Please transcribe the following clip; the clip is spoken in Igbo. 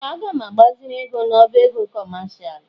Ee! Aga m agbaziri ego n'ọbá ego kọmashal.